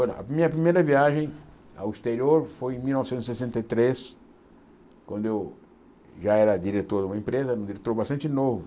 A minha primeira viagem ao exterior foi em mil novecentos e sessenta e três, quando eu já era diretor de uma empresa, um diretor bastante novo.